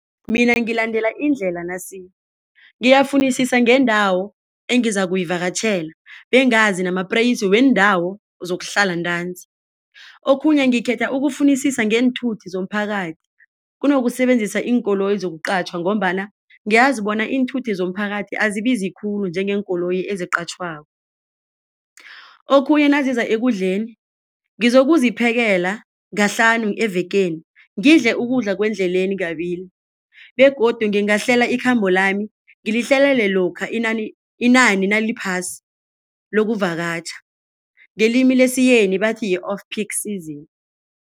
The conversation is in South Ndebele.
Mina ngilandela indlela nasi, ngiyafunisisa ngendawo engizakuyivakatjhela bengazi namapreyisi wendawo zokuhlala ntanzi. Okhunye ngikhetha ukufunisisa ngeenthuthi zomphakathi kunokusebenzisa iinkoloyi yokuqatjhwa ngombana ngiyazi bona iinthuthi zomphakathi azibizi khulu njengeenkoloyi eziqatjhwako. Okhunye naziza ekudleni, ngizokuziphekela kahlanu evekeni ngidle ukudla kwendleleni kabili begodu ngingahlela ikhambo lami ngilihlelele lokha inani naliphasi lokuvakatjha ngelimi lesiyeni bathi yi-off peak season.